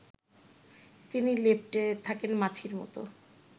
তিনি লেপ্টে থাকেন মাছির মতো